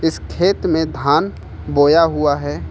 इस खेत में धान बोया हुआ है।